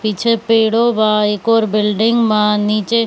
पीछे पेड़ो बा एक ओर बिल्डिंग बा नीचे --